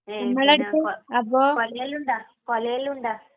മ്.. പിന്ന..കുല...കുലകളുണ്ട?